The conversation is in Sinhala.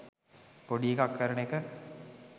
පොඩි එකක් කරන එක.